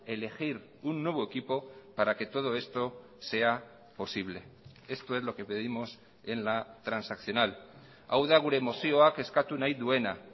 elegir un nuevo equipo para que todo esto sea posible esto es lo que pedimos en la transaccional hau da gure mozioak eskatu nahi duena